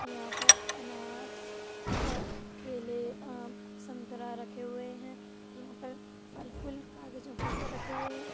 यहाँ पर अनार और केले आम संतरा रखे हुए हैं। यहाँ पर फल फूल कागजों के ऊपर रखे हुए हैं।